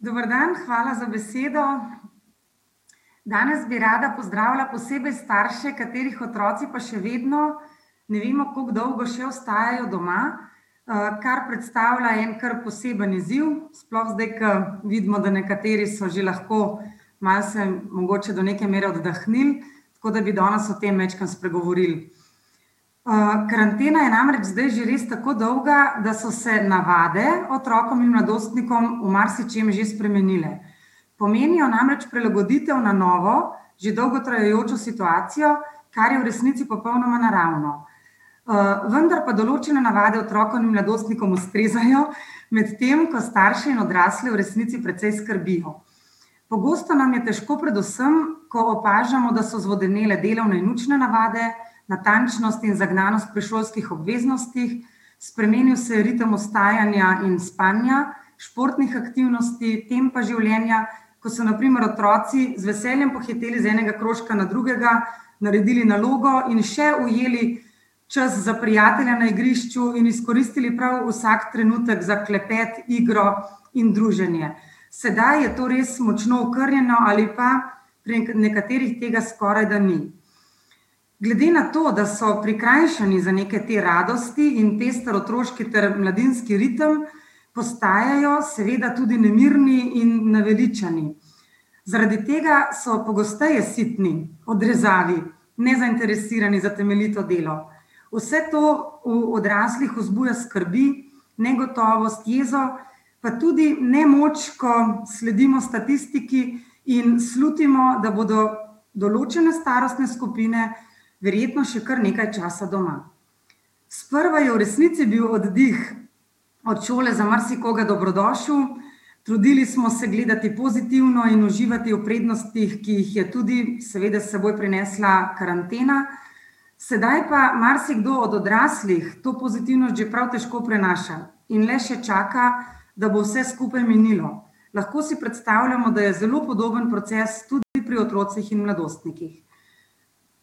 Dober dan, hvala za besedo. Danes bi rada pozdravila posebej starše, katerih otroci pa še vedno ne vemo, koliko dolgo, še ostajajo doma, kar predstavlja en kar poseben izziv, sploh zdaj, ke vidimo, da nekateri so že lahko malo se mogoče do neke mere oddahnili, tako da bi danes o tem majčkeno spregovorili. karantena je namreč zdaj že res tako dolga, da so se navade otrokom in mladostnikom v marsičem že spremenile. Pomenijo namreč prilagoditev na novo, že dolgo trajajočo situacijo, kar je v resnici popolnoma naravno. vendar pa določene navade otrokom in mladostnikom ustrezajo, medtem ko starše in odrasle v resnici precej skrbijo. Pogosto nam je težko predvsem, ko opažamo, da so zvodenele delovne in učne navade, natančnost in zagnanost pri šolskih obveznostih, spremenil se je ritem vstajanja in spanja, športnih aktivnosti, tempa življenja, ko so na primer otroci z veseljem pohiteli z enega krožka na drugega, naredili nalogo in še ujeli čas za prijatelje na igrišču in izkoristili prav vsak trenutek za klepet, igro in druženje. Sedaj je to res močno okrnjeno ali pa pri nekaterih tega skorajda ni. Glede na to, da so prikrajšani za neke te radosti in pester otroški ter mladinski ritem, postajajo seveda tudi nemirni in naveličani. Zaradi tega so pogosteje sitni, odrezavi, nezainteresirani za temeljito delo. Vse to v odraslih vzbuja skrbi, negotovost, jezo, pa tudi nemoč, ko sledimo statistiki in slutimo, da bodo določene starostne skupine verjetno še kar nekaj časa doma. Sprva je v resnici bil oddih od šole za marsikoga dobrodošel, trudili smo se gledati pozitivno in uživati v prednostih, ki jih je tudi seveda s seboj prinesla karantena, sedaj pa marsikdo od odraslih to pozitivnost že prav težko prenaša in le še čaka, da bo vse skupaj minilo. Lahko si predstavljamo, da je zelo podoben proces tudi pri otrocih in mladostnikih.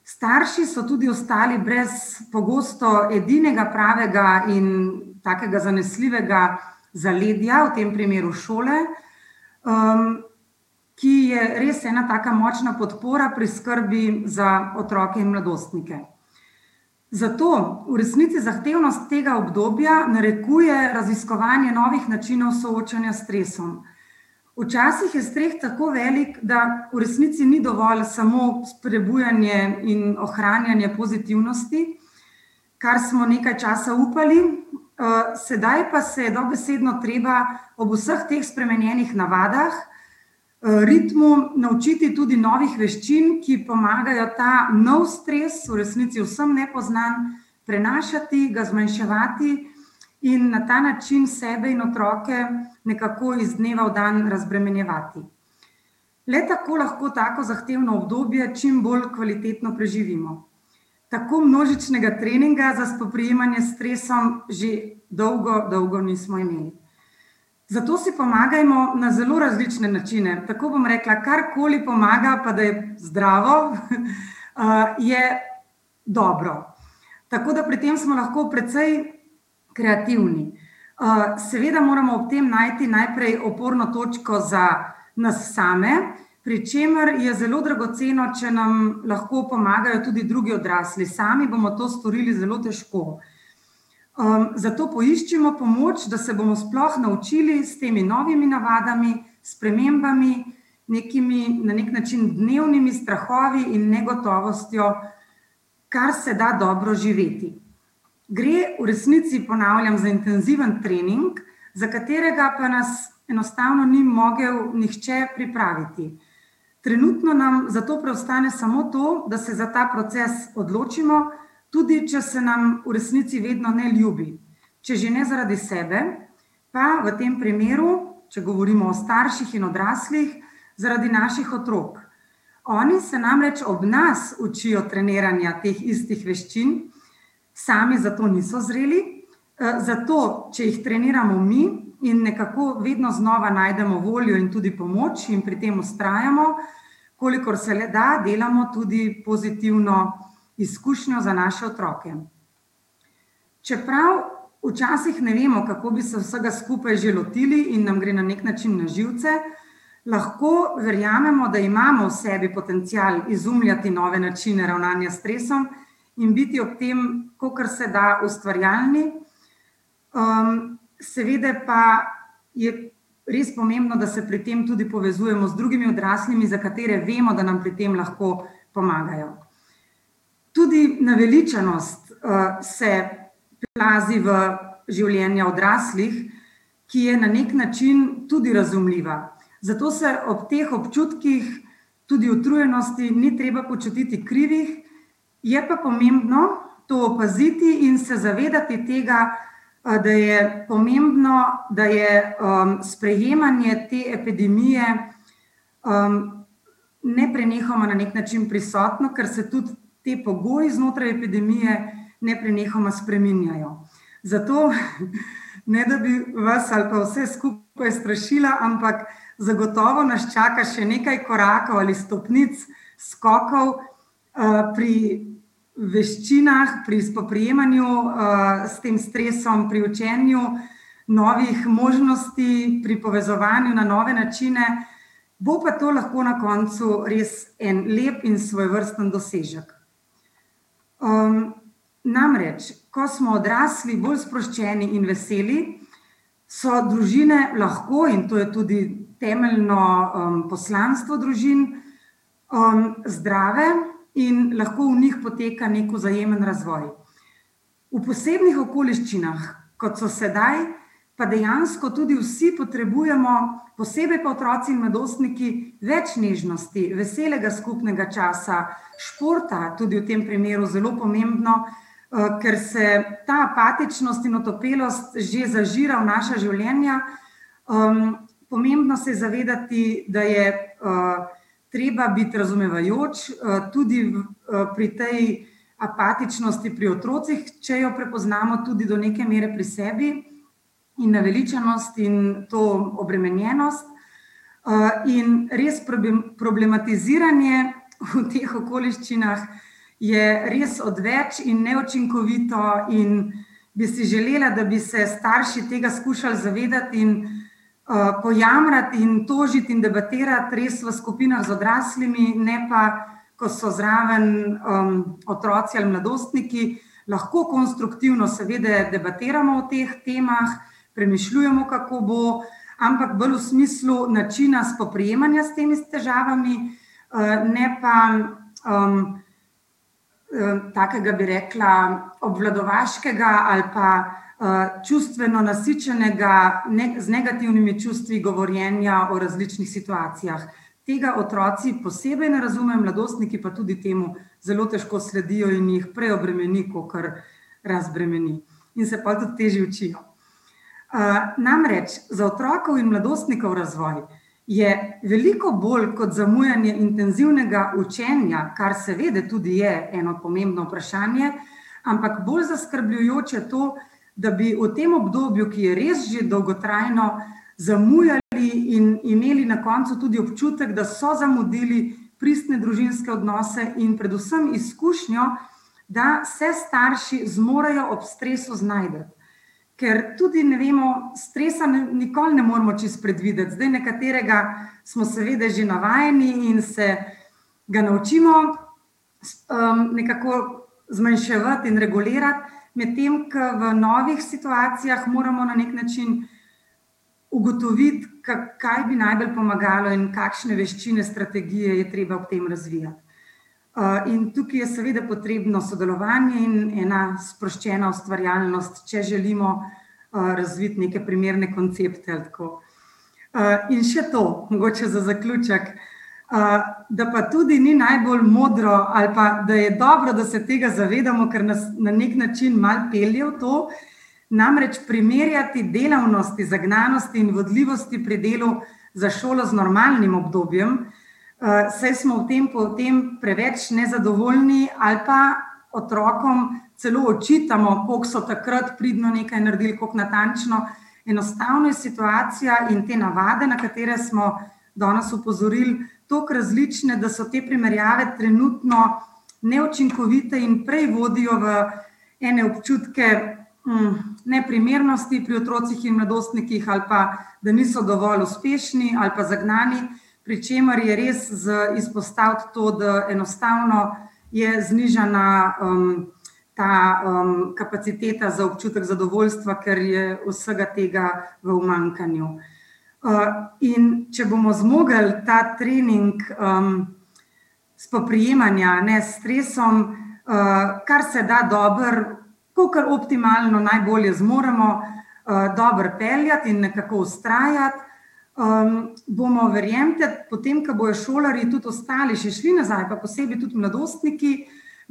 Starši so tudi ostali brez pogosto edinega pravega in takega zanesljivega zaledja, v tem primeru šole, ki je res ena taka močna podpora pri skrbi za otroke in mladostnike. Zato v resnici zahtevnost tega obdobja narekuje raziskovanje novih načinov soočanja s stresom. Včasih je stres tako velik, da v resnici ni dovolj samo sprebujanje in ohranjanje pozitivnosti, kar smo nekaj časa upali, sedaj pa se je dobesedno treba ob vseh teh spremenjenih navadah, ritmu naučiti tudi novih veščin, ki pomagajo ta nov stres, v resnici vsem nepoznan, prenašati, ga zmanjševati in na ta način sebe in otroke nekako iz dneva v dan razbremenjevati. Le tako lahko tako zahtevno obdobje čim bolj kvalitetno preživimo. Tako množičnega treninga za spoprijemanje s stresom že dolgo, dolgo nismo imeli. Zato si pomagajmo na zelo različne načine, tako bom rekla, karkoli pomaga, pa da je zdravo, je dobro. Tako da pri tem smo lahko precej kreativni. seveda moramo ob tem najti najprej oporno točko za nas same, pri čemer je zelo dragoceno, če nam lahko pomagajo tudi drugi odrasli. Sami bomo to storili zelo težko. zato poiščimo pomoč, da se bomo sploh naučili s temi novimi navadami, spremembami, nekimi, na neki način, dnevnimi strahovi in negotovostjo kar se da dobro živeti. Gre v resnici, ponavljam, za intenziven trening, za katerega pa nas enostavno ni mogel nihče pripraviti. Trenutno nam zato preostane samo to, da se za ta proces odločimo, tudi če se nam v resnici vedno ne ljubi. Če že ne zaradi sebe, pa, v tem primeru, če govorimo o starših in odraslih, zaradi naših otrok. Oni se namreč ob nas učijo treniranja teh istih veščin, sami za to niso zreli, zato, če jih treniramo mi in nekako vedno znova najdemo voljo in tudi pomoč in pri tem vztrajamo, kolikor se le da, delamo tudi pozitivno izkušnjo za naše otroke. Čeprav včasih ne vemo, kako bi se vsega skupaj že lotili in nam gre na neki način na živce, lahko verjamemo, da imamo v sebi potencial izumljati nove načine ravnanja s stresom in biti ob tem, kolikor se da, ustvarjalni. seveda pa je res pomembno, da se pri tem tudi povezujemo z drugimi odraslimi, za katere vemo, da nam pri tem lahko pomagajo. Tudi naveličanost, se priplazi v življenja odraslih, ki je na neki način tudi razumljiva. Zato se ob teh občutkih, tudi utrujenosti, ni treba počutiti krivi, je pa pomembno to opaziti in se zavedati tega, da je pomembno, da je, sprejemanje te epidemije, neprenehoma na neki način prisotno, ker se tudi te pogoji znotraj epidemije neprenehoma spreminjajo. Zato, ne da bi vas ali pa vse skupaj strašila, ampak zagotovo nas čaka še nekaj korakov ali stopnic, skokov, pri veščinah, pri spoprijemanju, s tem stresom pri učenju, novih možnosti pri povezovanju na nove načine. Bo pa to lahko na koncu res en lep in svojevrsten dosežek. namreč, ko smo odrasli bolj sproščeni in veseli, so družine lahko, in to je tudi temeljno, poslanstvo družin, zdrave, in lahko v njih poteka neki vzajemen razvoj. V posebnih okoliščinah, kot so sedaj, pa dejansko tudi vsi potrebujemo, posebej pa otroci in mladostniki, več nežnosti, veselega skupnega časa, športa, tudi v tem primeru zelo pomembno, ker se ta apatičnost in otopelost že zažira v naša življenja, pomembno se je zavedati, da je, treba biti razumevajoč, tudi pri tej apatičnosti pri otrocih, če jo prepoznamo tudi do neke mere pri sebi, in naveličanost in to obremenjenost. in res problematiziranje v teh okoliščinah je res odveč in neučinkovito in bi si želela, da bi se starši tega skušali zavedati in, pojamrati in tožiti in debatirati res v skupinah z odraslimi, ne pa ko so zraven, otroci ali mladostniki. Lahko konstruktivno seveda debatiramo o teh temah, premišljujemo, kako bo, ampak bolj v smislu načina spoprijemanja s temi s težavami, ne pa, takega, bi rekla, obvladovaškega ali pa, čustveno nasičenega, z negativnimi čustvi govorjenja o različnih situacijah. Tega otroci posebej ne razumejo, mladostniki pa tudi temu zelo težko sledijo in jih preobremeni kakor razbremeni. In se pol tudi težje učijo. namreč, za otrok in mladostnikov razvoj je veliko bolj kot zamujanje intenzivnega učenja, kar seveda tudi je eno pomembno vprašanje, ampak bolj zaskrbljujoče to, da bi v tem obdobju, ki je res že dolgotrajno, zamujali in imeli na koncu tudi občutek, da so zamudili pristne družinske odnose in predvsem izkušnjo, da se starši zmorejo ob stresu znajti. Ker tudi ne vemo, stresa nikoli ne moremo čisto predvideti, zdaj nekaterega smo seveda že navajeni in se ga naučimo, nekako zmanjševati in regulirati, medtem ko v novih situacijah moramo na neki način ugotoviti, kaj bi najbolj pomagalo in kakšne veščine, strategije je treba ob tem razvijati. in tukaj je seveda potrebno sodelovanje in ena sproščena ustvarjalnost, če želimo, razviti neke primerne koncepte, ko ... in še to, mogoče za zaključek: da pa tudi ni najbolj modro ali pa da je dobro, da se tega zavedamo, ker nas na neki način malo pelje v to, namreč primerjati delavnosti, zagnanosti in vodljivosti pri delu za šolo z normalnim obdobjem, saj smo v tempu tem preveč nezadovoljni ali pa otrokom celo očitamo, koliko so takrat pridno nekaj naredili, koliko natančno ... Enostavno je situacija in te navade, na katere smo danes opozorili, toliko različne, da so te primerjave trenutno neučinkovite in prej vodijo v ene občutke, neprimernosti pri otrocih in mladostnikih ali pa da niso dovolj uspešni ali pa zagnani, pri čemer je res za izpostaviti to, da enostavno je znižana, ta, kapaciteta za občutek zadovoljstva, ker je vsega tega v umanjkanju. in če bomo zmogli ta trening, spoprijemanja, ne, s stresom, kar se da dobro, kakor optimalno najbolje zmoremo, dobro peljati in nekako vztrajati, bomo, verjemite, potem ko bojo šolarji tudi ostali že šli nazaj, pa posebej tudi mladostniki,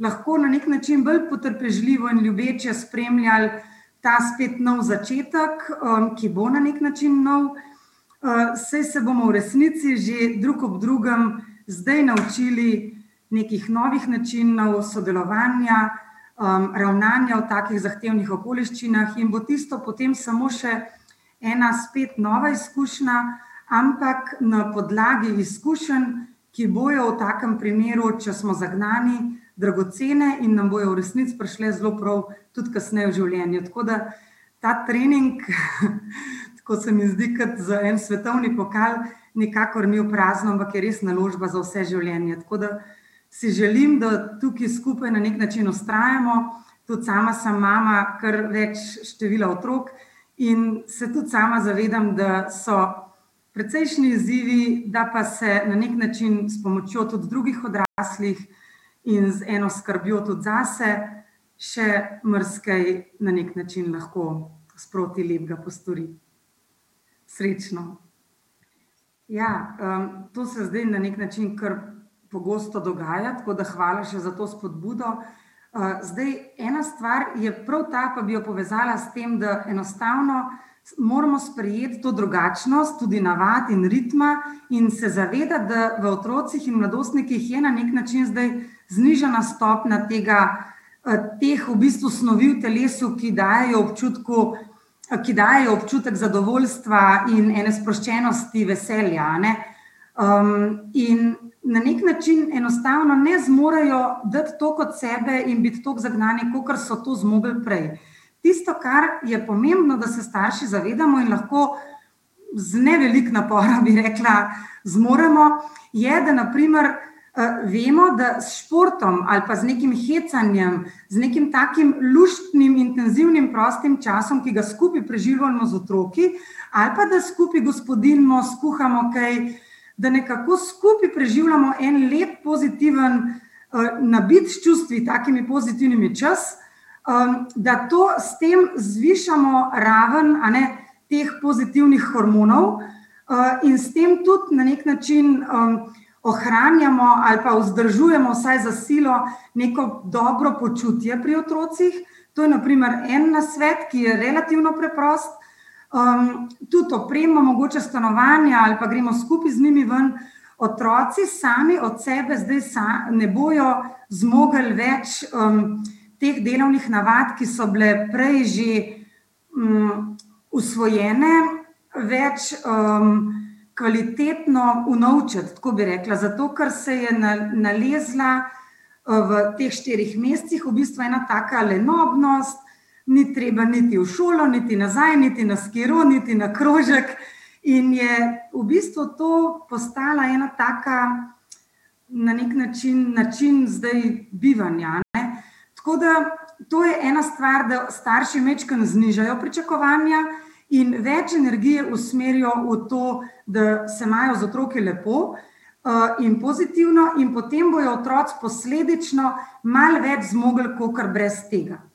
lahko na neki način bolj potrpežljivo in ljubeče spremljali ta spet nov začetek, ki bo na neki način nov, saj se bomo v resnici že drug ob drugem zdaj naučili nekih novih načinov sodelovanja, ravnanja v takih zahtevnih okoliščinah, in bo tisto potem samo še ena spet nova izkušnja, ampak na podlagi izkušenj, ki bojo v takem primeru, če smo zagnani, dragocene in nam bojo v resnici prišle zelo prav tudi kasneje v življenju. Tako da ta trening, tako se mi zdi kot za en svetovni pokal, nikakor ni v prazno, ampak je res naložba za vse življenje. Tako da si želim, da tukaj skupaj na neki način vztrajamo, tudi sama sem mama, kar več števila otrok, in se tudi sama zavedam, da so precejšnji izzivi, da pa se na neki način s pomočjo tudi drugih odraslih in z eno skrbjo tudi zase še marsikaj na neki način lahko sproti lepega postori. Srečno. Ja, to se zdaj na neki način kar pogosto dogaja, tako da hvala še za to spodbudo, zdaj ena stvar je prav ta, pa bi jo povezala s tem, da enostavno moramo sprejeti to drugačnost tudi navadi in ritma in se zavedati, da v otrocih in mladostnikih je na neki način zdaj znižana stopnja tega, teh v bistvu snovi v telesu, ki dajejo občutku, ki dajejo občutek zadovoljstva in ene sproščenosti, veselja, a ne. in na neki način enostavno ne zmorejo dati toliko od sebe in biti toliko zagnani, kakor so to zmogli biti prej. Tisto, kar je pomembno, da se starši zavedamo in lahko z ne veliko napora, bi rekla, zmoremo, je, da na primer, vemo, da s športom ali pa z nekim hecanjem, z nekim takim luštnim intenzivnim prostim časom, ki ga skupaj preživljamo z otroki, ali pa da skupaj gospodinjimo, skuhamo kaj, da nekako skupaj preživljamo en lep pozitiven, nabit s čustvi, takimi pozitivnimi, čas, da to, s tem zvišamo raven, a ne, teh pozitivnih hormonov, in s tem tudi na neki način, ohranjamo ali pa vzdržujemo vsaj za silo neko dobro počutje pri otrocih. To je na primer en nasvet, ki je relativno preprost. tudi oprema mogoče stanovanja ali pa gremo skupaj z njimi ven ... Otroci sami od sebe, zdaj ne bojo zmogli več, teh delovnih navadi, ki so bile prej že, usvojene, več, kvalitetno unovčiti. Tako bi rekla, zato ker se je nalezla, v teh štirih mesecih v bistvu ena taka lenobnost, ni treba niti v šolo niti nazaj niti na skiro niti na krožek in je v bistvu to postala ena taka na neki način način zdaj bivanja, a ne. Tako da to je ena stvar, da starši majčkeno znižajo pričakovanja in več energijo usmerijo v to, da se imajo z otroki lepo, in pozitivno, in potem bojo otroci posledično malo več zmogli kakor brez tega.